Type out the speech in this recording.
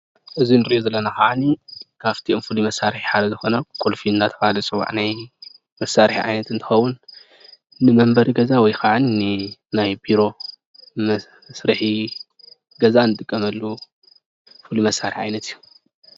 እዚ ንሪኦ ዘለና ከዓኒ ካብቶም ፍሉይ መሳርሒ ሓደ ዝኮነ ቁልፊ እናተበሃለ ዝፅዋዕ ናይ መሳርሒ ዓይነት እንትከውን ንመምበሪ ገዛ ወይከዓኒ ንናይ ቢሮ መስርሒ ገዛ ንጥቀመሉ መሳርሒ ዓይነት እዩ።